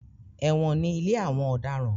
Ẹ̀wọ̀n ni ilé àwọn ọ̀daràn.